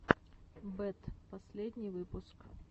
бэд последний выпуск